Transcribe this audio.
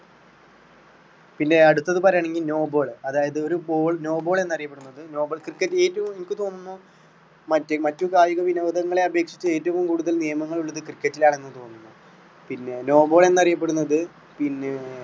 പിന്നെ അടുത്തത് പറയാനെങ്കിൽ no ball അതായതു ഒരു ball no ball എന്ന് അറിയപ്പെടുന്നത് no ball cricket റ്റിൽ ഏറ്റവും എനിക്ക് തോന്നുന്നു മറ്റ് മറ്റ് കായിക വിനോദങ്ങളെ അപേക്ഷിച്ച് ഏറ്റവും കൂടുതൽ നിയമങ്ങൾ ഉള്ളത് cricket റ്റിൽ ആണെന്ന് തോന്നുന്നു. പിന്നെ no ball എന്ന് അറിയപ്പെടുന്നത് പിന്നെ